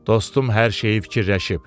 Dostum hər şeyi fikirləşib.